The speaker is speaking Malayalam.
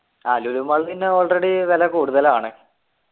ആഹ് ലുലു mall പിന്നെ already വില കൂടുതലാണ്